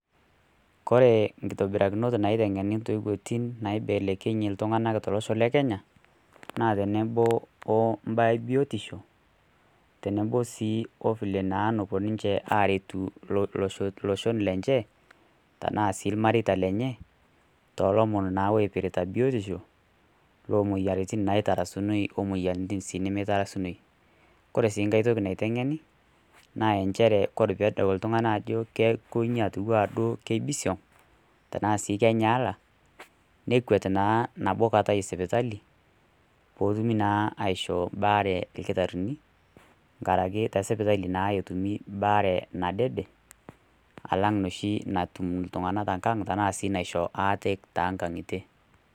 Kore inkitobirakinot naiteng'eni towoitin naibelekenyi ltung'ana tolosho le Kenya, naa tenebo o mbaa e biotisho, tenebo sii o vile naa napuo ninche aretu iloshon lenye, tanaa sii ilmareita lenye, too ilomon naa oipirita biotisho, loo moyiaritin naa naitarasunoi o moyiaritin naa nemeitarasuni. Kore sii nkai toki naiteg'eni naa enchere kore pee edol oltung'ani ajo kelo ninye atiu anaa keibisiong' tanaa sii kenyaala, nekwet naa nabo kata esipitali, pee etumi naa aishoo mbaare ilkitarini, nkaraki te sipitali naa etumi baare nadede, alang' noshi natum iltung'ana te nkang' tanaa sii naiho aate too inkang'itie.